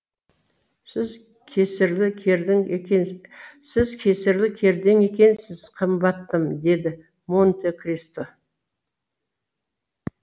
сіз кесірлі кердең екенсіз қымбаттым деді монте кристо